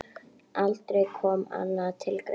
Aldrei kom annað til greina.